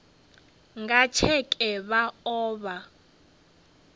nga tsheke vha o vha